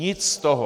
Nic z toho.